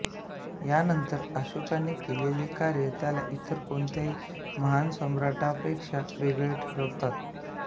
यानंतर अशोकाने केलेले कार्य त्याला इतर कोणत्याही महान सम्राटांपेक्षा वेगळे ठरवतात